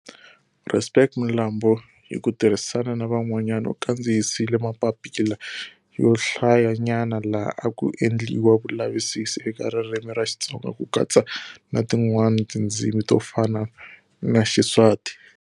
Respect Mlambo hi ku tirhisana na van'wanyani u kandziyisile mapapila yo hlaya nyana laha a ku endliwa vulavisisi eka ririmi ra Xitsonga ku katsa na tin'wani tindzimi to fana na Xiswati.